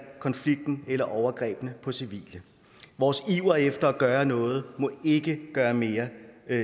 konflikten eller overgrebene på civile vores iver efter at gøre noget må ikke gøre mere